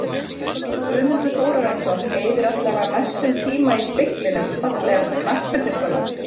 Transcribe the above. Guðmundur Þórarinsson eyðir allavega mestum tíma í speglinum Fallegasta knattspyrnukonan?